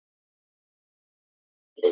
Við megum þetta ekki!